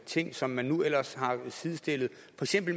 ting som man nu har sidestillet